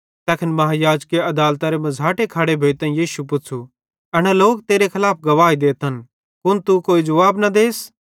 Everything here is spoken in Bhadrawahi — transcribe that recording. तैखन महायाजके अदालतेरे मझ़ाटे खड़े भोइतां यीशु पुच़्छ़ू एना लोक तेरे खलाफ गवाही देतन कुन तू कोई जुवाब नईं देस